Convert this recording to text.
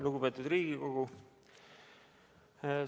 Lugupeetud Riigikogu!